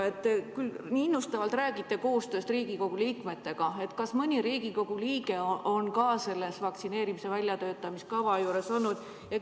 Te räägite küll nii innustavalt koostööst Riigikogu liikmetega, aga kas mõni Riigikogu liige on üldse selle vaktsineerimiskava väljatöötamise juures olnud?